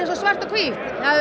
svart og hvítt